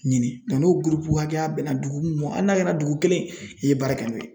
Ɲini n'o gurupu hakɛya bɛna dugu mun ma hali n'a kɛra dugu kelen i ye baara kɛ n'o ye.